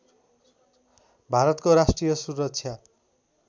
भारतको राष्ट्रिय सुरक्षा